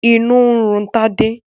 Inú ń run Tádé.